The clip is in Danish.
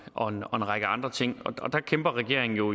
og en række andre ting og der kæmper regeringen jo